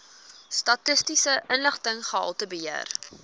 statistiese inligting gehaltebeheer